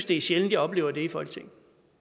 det er sjældent jeg oplever det i folketinget